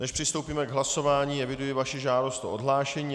Než přistoupíme k hlasování, eviduji vaši žádost o odhlášení.